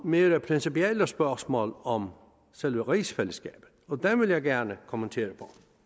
mere principielle spørgsmål om selve rigsfællesskabet og dem vil jeg gerne kommentere